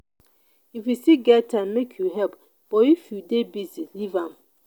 if you still get time make you help but if you dey busy leave am.